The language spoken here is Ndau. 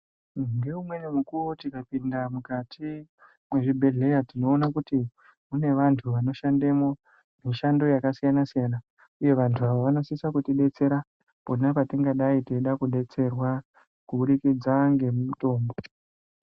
Ngewumwenimukuwo tikapinda mukati mezvibhedlera tinowona kuti munevanhu vanoshandemo mishando yakasiyana siyana uye vantu ava vanosise kuti detsera kona patingadai tichida kudetserwa kubudikidza nemitombo.